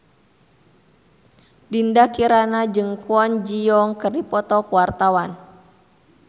Dinda Kirana jeung Kwon Ji Yong keur dipoto ku wartawan